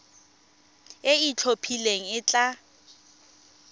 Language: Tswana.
e e itlhophileng e tla